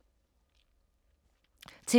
TV 2